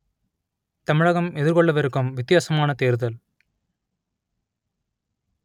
தமிழகம் எதிர்கொள்ளவிருக்கும் வித்தியாசமான தேர்தல்